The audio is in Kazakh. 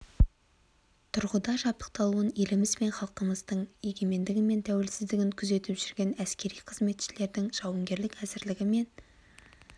тұрғыда жабдықталуын еліміз бен халқымыздың егемендігі мен қауіпсіздігін күзетіп жүрген әскери қызметшілердің жауынгерлік әзірлігі мен